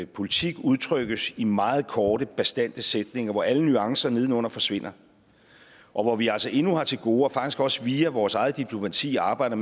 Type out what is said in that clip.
politik udtrykkes i meget korte bastante sætninger hvor alle nuancer nedenunder forsvinder og hvor vi altså endnu har til gode faktisk også via vores eget diplomati arbejder